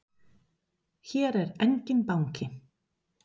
Hér er enginn banki!